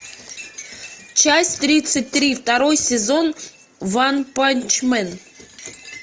часть тридцать три второй сезон ванпанчмен